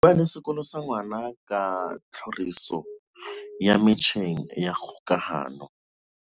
Bua le sekolo sa ngwana ka tlhoriso ya metjheng ya kgokahano.